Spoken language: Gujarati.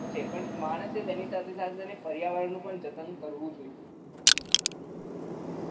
પણ માણસ તેની સાથે સાથે પર્યાવરણ નું જતન કરવું જોઈએ